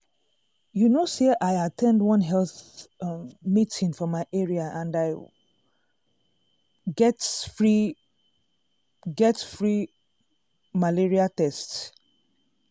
you know say i at ten d one health um meeting for my area and i um get free um get free um malaria test.